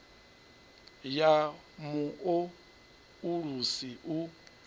ya mu o ulusi u